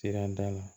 Sirada la